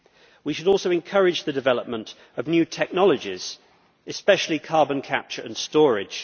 We should also encourage the development of new technologies, especially carbon capture and storage.